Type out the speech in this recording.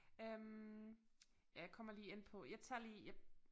Øh jeg kommer lige ind på jeg tager lige